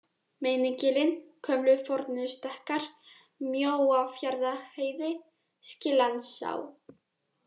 Meinigilin, Gömlu-Fornustekkar, Mjóafjarðarheiði, Skillandsá